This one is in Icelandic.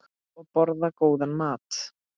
Og borða góðan mat.